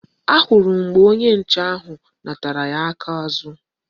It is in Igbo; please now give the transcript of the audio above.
Ahụrụ m mgbe onye nche ahụ natara ya aka azụ